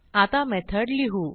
आता मेथड लिहू